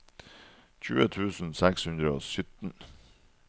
tjue tusen seks hundre og sytten